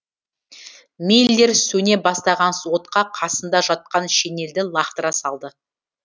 миллер сөне бастаған отқа қасында жатқан шенелді лақтыра салды